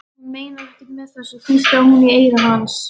Hún meinar ekkert með þessu, hvíslaði hún í eyra hans.